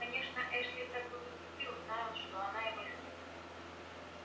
конечно эшли так бы поступил знай он что она его любит